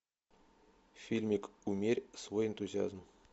фильмик умерь свой энтузиазм